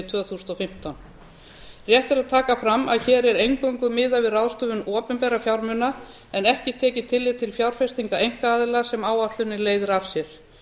tvö þúsund og fimmtán rétt er að taka fram að hér er eingöngu miðað við ráðstöfun opinberra fjármuna en ekki tekið tillit til fjárfestinga einkaaðila sem áætlunin leiðir af sér